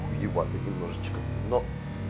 хуевато немножечко но